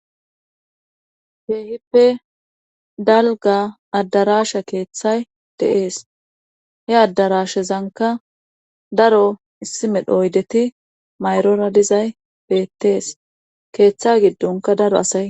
Keehippe dalga addarasha keeththay de7ees he addarashezanka daro issimedho oydeti mayrora dizay beettees keeththa giddonka daro asay.